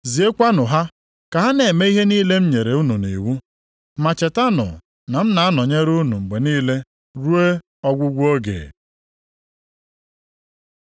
Ziekwanụ ha ka ha na-eme ihe niile m nyere unu nʼiwu. Ma chetanụ na m na-anọnyere unu mgbe niile, ruo ọgwụgwụ oge.”